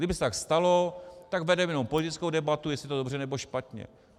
Kdyby se tak stalo, tak vedeme jenom politickou debatu, jestli to je dobře, nebo špatně.